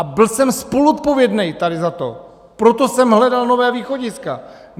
A byl jsem spoluodpovědný tady za to, proto jsem hledal nová východiska.